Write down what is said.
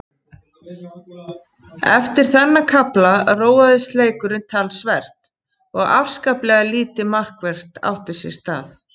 Eftir þennan kafla róaðist leikurinn talsvert og afskaplega lítið markvert átti sér stað.